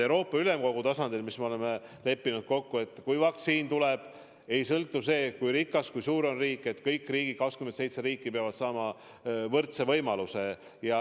Euroopa Ülemkogu tasandil me oleme kokku leppinud, et kui vaktsiin tuleb, siis pole tähtis, kui rikas, kui suur on riik, vaid kõik 27 riiki peavad saama võrdse võimaluse.